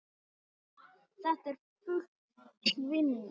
Þetta er full vinna.